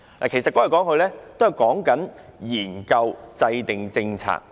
"其實說來說去，也是在說研究制訂政策。